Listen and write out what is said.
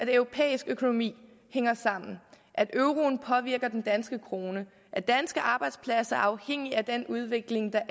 at europæisk økonomi hænger sammen at euroen påvirker den danske krone og at danske arbejdspladser er afhængige af den udvikling der